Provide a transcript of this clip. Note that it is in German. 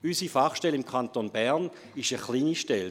Unsere Fachstelle im Kanton Bern ist eine kleine Stelle.